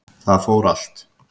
Það fór allt